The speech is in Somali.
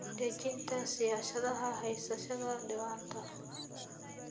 Dejinta siyaasadaha haysashada diiwaanada.